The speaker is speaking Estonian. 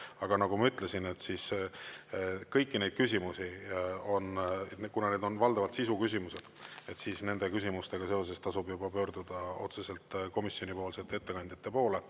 Aga nagu ma ütlesin, kõiki neid küsimusi, kuna need on valdavalt sisu küsimused, siis nende küsimustega seoses tasub pöörduda otseselt komisjonipoolsete ettekandjate poole.